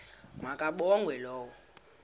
ma kabongwe low